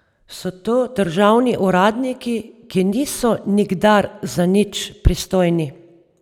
So to državni uradniki, ki niso nikdar za nič pristojni...